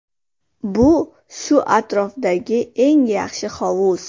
Bu shu atrofdagi eng yaxshi hovuz.